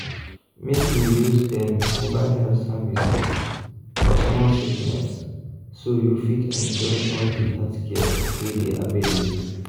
make you use dem mobile health services for small sickness so you fit enjoy all the healthcare wey dey available.